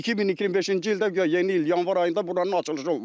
2025-ci ildə guya yeni il yanvar ayında buranın açılışı olmadı.